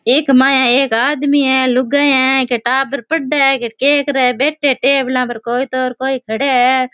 एक माँ है एक आदमी है एक लुगाइयाँ है के टाबर पड़े है के बैठा है टेबला पे कोई तो कोई खड़े है।